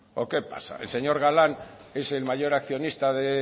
o qué pasa el señor galán es el mayor accionista de